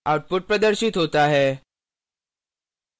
output प्रदर्शित होता है